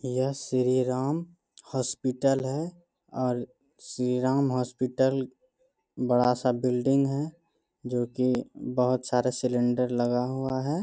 यह श्री राम हॉस्पिटल है और श्री राम हॉस्पिटल बड़ा सा बिल्डिंग है जो कि बोहोत सारे सिलेंडर लगा हुआ है।